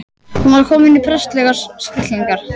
Hún var komin í prestslegar stellingar.